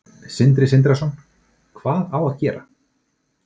Sindri Sindrason: Hvað á að gera?